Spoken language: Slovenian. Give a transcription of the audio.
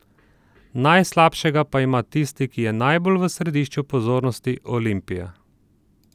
Najslabšega pa ima tisti, ki je najbolj v središču pozornosti, Olimpija.